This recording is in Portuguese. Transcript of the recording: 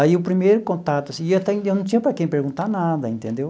Aí o primeiro contato assim e até e eu não tinha para quem perguntar nada, entendeu?